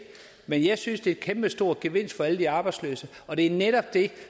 men jeg synes det er en kæmpestor gevinst for alle de arbejdsløse og det er netop det